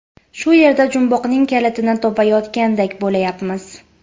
Shu yerda jumboqning kalitini topayotgandek bo‘layapmiz.